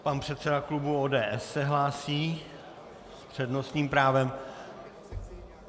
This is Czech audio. Pan předseda klubu ODS se hlásí s přednostním právem.